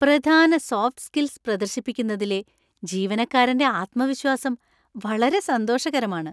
പ്രധാന soft skills പ്രദർശിപ്പിക്കുന്നതിലെ ജീവനക്കാരന്‍റെ ആത്മവിശ്വാസം വളരെ സന്തോഷകരമാണ്.